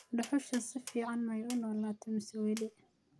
dhuxusha si fiican maay uu nolate mise weli